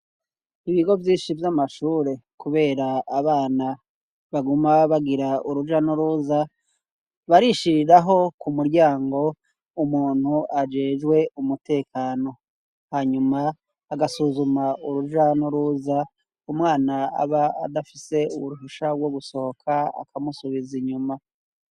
Ibigo vyinshi vy'amashure kubera abana baguma bagira uruja nuruza barishiriraho ku muryango umuntu ajejwe umutekano hanyuma agasuzuma uruja nuruza umwana aba adafise uruhusha gwo gusohoka akamusubiza inyuma.